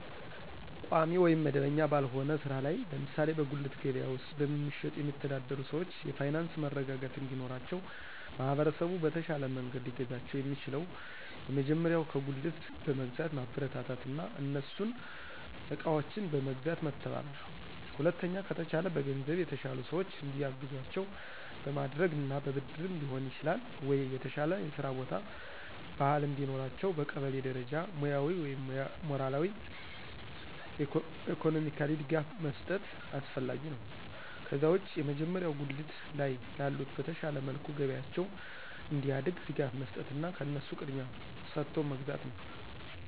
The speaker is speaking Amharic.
ቋሚ ወይም መደበኛ ባልሆነ ሥራ ላይ ለምሳሌ በጉሊት ገበያ ውስጥ በመሸጥ የሚተዳደሩ ሰዎች የፋይናንስ መረጋጋት እንዲኖራቸው ማህበረሰቡ በተሻለ መንገድ ሊያግዛቸው የሚችለው የመጀመሪያው ከጉልት በመግዛት ማበረታታትና እነሱን እቃዎችን በመግዛት መተባበር። ሁለተኛ ከተቻለ በገንዘብ የተሻሉ ሰዎች እንዲያግዟቸው በማድረግና በብድርም ሊሆን ይችላል ወይ የተሻለ የስራ ቦታ፣ ባህል እንዲኖራቸው በቀበሌ ደረጃ ሙያዊ ወይም ሞራላዊ፣ ኢኮኖሚካሊ ድጋፍ መስጠት አስፈላጊ ነው። ከዛ ውጭ የመጀመሪያው ጉሊት ላይ ላሉት በተሻለ መልኩ ገበያቸው እንዲያድግ ድጋፍ መስጠትና ከነሱ ቅድሚያ ሰጦ መግዛት ነው።